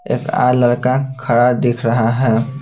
एक ऐ लड़का खड़ा दिख रहा है.